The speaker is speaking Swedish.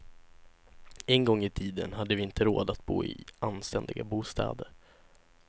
En gång i tiden hade vi inte råd att bo i anständiga bostäder.